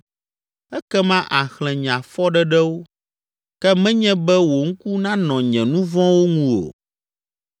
Ekema àxlẽ nye afɔɖeɖewo, ke menye be wò ŋku nanɔ nye nu vɔ̃wo ŋu o.